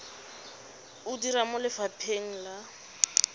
o dira mo lefapheng la